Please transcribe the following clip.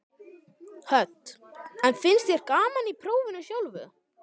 Hödd: En finnst þér gaman í prófinu sjálfu?